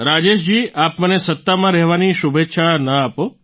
રાજેશજી આપ મને સત્તામાં રહેવાની શુભેચ્છા ન આપો